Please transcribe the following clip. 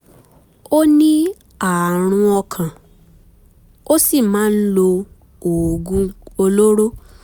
ó ní ààrùn ọkàn ó sì máa ń lo oògùn olóró